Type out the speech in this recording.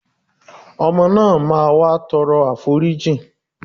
Ọmọ náà máa wá tọrọ àforí